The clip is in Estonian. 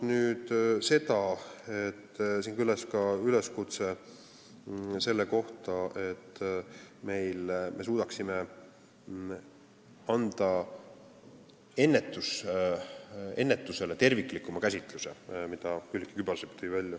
Siin kõlas ka üleskutse selle kohta, et me peaksime andma ennetusele terviklikuma käsitluse, selle tõi välja Külliki Kübarsepp.